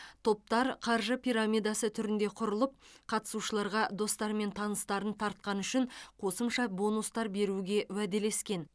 топтар қаржы пирамидасы түрінде құрылып қатысушыларға достары мен таныстарын тартқаны үшін қосымша бонустар беруге уәделескен